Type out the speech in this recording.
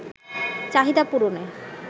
চাহিদা পূরণে